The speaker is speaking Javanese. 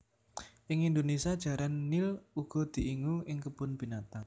Ing Indonésia Jaran nil uga diingu ing kebon binatang